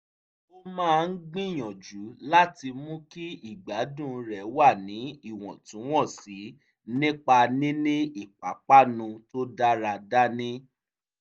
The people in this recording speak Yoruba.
ó máa ń gbìyànjú láti mú kí ìgbádùn rẹ̀ wà ní ìwọ̀ntúwọ̀nsì nípa níní ìpápánu tó dára dání